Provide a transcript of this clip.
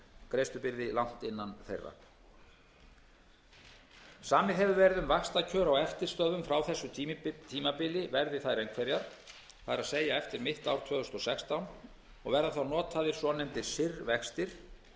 greiðslubyrði langt innan þeirra samið hefur verið um að vaxtakjör á eftirstöðvum frá þessu tímabili verði þær einhverjar það er eftir mitt ár tvö þúsund og sextán og verða þá notaðir